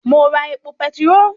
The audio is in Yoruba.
Mo ra epo petiró